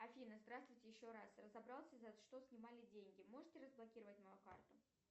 афина здравствуйте еще раз разобрался за что снимали деньги можете разблокировать мою карту